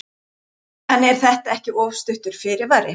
En er þetta ekki of stuttur fyrirvari?